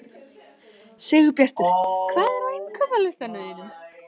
Sigurbjartur, hvað er á innkaupalistanum mínum?